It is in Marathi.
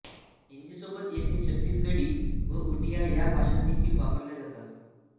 हिंदीसोबत येथे छत्तीसगढी व उडिया ह्या भाषादेखील वापरल्या जातात